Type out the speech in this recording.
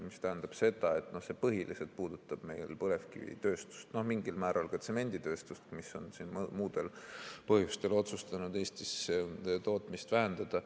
See tähendab, et see põhiliselt puudutab meil põlevkivitööstust, mingil määral ka tsemenditööstust, mis on muudel põhjustel otsustanud Eestis tootmist vähendada.